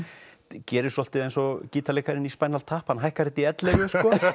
gerir svolítið eins og gítarleikarinn í tap hann hækkar þetta í ellefu